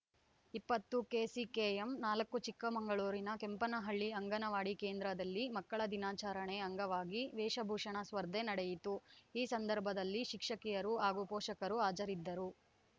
ಇಪ್ಪತ್ತು ಕೆಸಿಕೆಎಂ ನಾಲ್ಕು ಚಿಕ್ಕಮಗಳೂರಿನ ಕೆಂಪನಹಳ್ಳಿ ಅಂಗನವಾಡಿ ಕೇಂದ್ರದಲ್ಲಿ ಮಕ್ಕಳ ದಿನಾಚರಣೆ ಅಂಗವಾಗಿ ವೇಷಭೂಷಣ ಸ್ಫರ್ಧೆ ನಡೆಯಿತು ಈ ಸಂದರ್ಭದಲ್ಲಿ ಶಿಕ್ಷಕಿಯರು ಹಾಗೂ ಪೋಷಕರು ಹಾಜರಿದ್ದರು